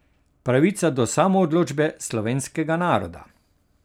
Pravica do samoodločbe slovenskega naroda.